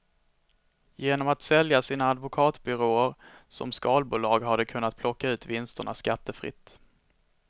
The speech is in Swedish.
Genom att sälja sina advokatbyråer som skalbolag har de kunnat plocka ut vinsterna skattefritt.